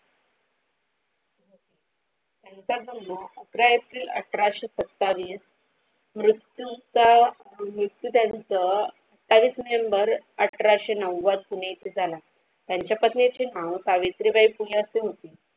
तर अठराशी सत्तावीस मृत्यूच मृत्यू त्यांचा तेहशी नोव्हेंबर अठराशी नव्वद झाला त्यांच्या पत्नीचे नाव सावित्रीबाई फुले अशे.